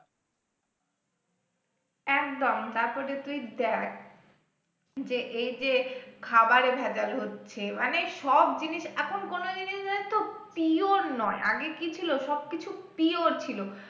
একদম তারপরে তুই দেখ যে এই যে খাবারে ভেজাল হচ্ছে মানে সব জিনিস এখন কোন জিনিস pure নয় আগে কি ছিল সবকিছু pure ছিল